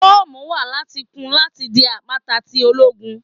Fọọmu wa lati kun lati di apakan ti ologun